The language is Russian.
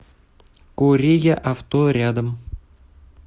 кореяавто рядом